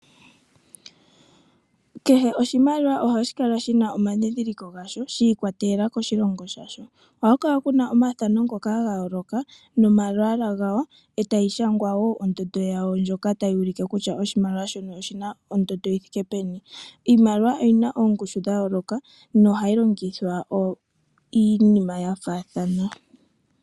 Kehe oshimaliwa ohashi kala shina omadhidhiliko gasho, shi ikwatelela koshilongo shasho. Ohaku kala omathano ngoka ga yooloka, nomalwaala gawo. Etayi shangwa wo ondjundo yawo ndjoka tayi ulike kutya oshimaliwa shino oshina ondondo yi thike peni. Iimaliwa oyi na oongushu dha yooloka, no hayi longithwa iinima ya faathana.